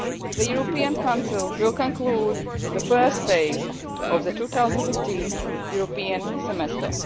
The European Council will conclude the first phase of the 2015 European Semester.